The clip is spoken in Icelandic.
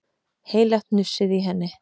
Heilagt hnussaði í henni.